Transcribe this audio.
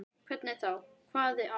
Hvernig þá, hváði Anna.